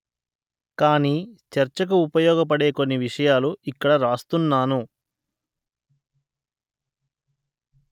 కాని చర్చకు ఉపయోగపడే కొన్ని విషయాలు ఇక్కడ వ్రాస్తున్నాను